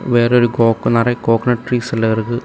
வேற ஒரு கோக்கு நெறியா கோக்நட் ட்ரீஸ் எல்லா இருக்கு.